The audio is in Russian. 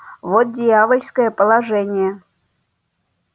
вот дьявольское положение